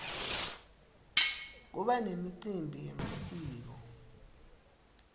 kuba nemicimbi yemasiko